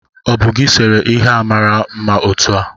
O bu gi sere ihe a mara mma otu a?